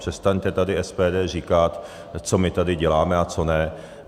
Přestaňte tady SPD říkat, co my tady děláme a co ne.